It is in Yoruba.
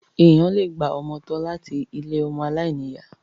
Èèyàn le gba ọmọ tọ́ láti ilé ọmọ aláìní ìyá.